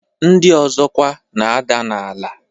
Ndị ọzọ kwa na-ada n'ala.